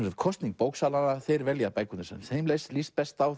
er kosning bóksala þeir velja bækur sem þeim líst líst best á